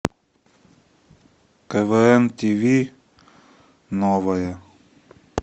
квн тв новое